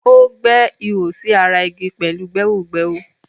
O gbẹ́ ihò sí ara igi pẹ̀lú gbẹ́hògbẹ́hò.